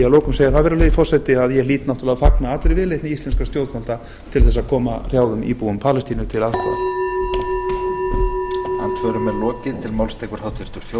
lokum segja það virðulegi forseti að ég hlýt náttúrlega að fagna allri viðleitni íslenskra stjórnvalda til þess að koma hrjáðum íbúum palestínu til aðstoðar